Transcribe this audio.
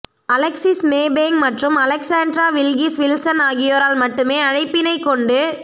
Alexis Maybank மற்றும் Alexandra Wilkis Wilson ஆகியோரால் மட்டுமே அழைப்பினைக் கொண்டு